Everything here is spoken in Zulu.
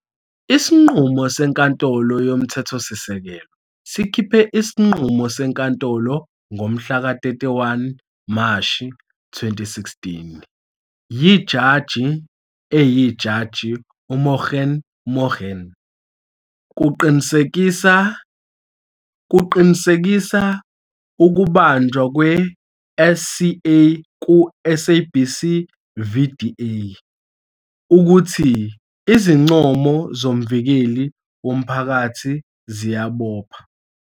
Isinqumo seNkantolo YoMthethosisekelo sikhiphe isinqumo senkantolo ngomhlaka 31 Mashi 2016 yiJaji eyiJaji uMogoeng Mogoeng. Kuqinisekisa ukubanjwa kwe-SCA ku- "SABC v DA" ukuthi izincomo zoMvikeli woMphakathi ziyabopha.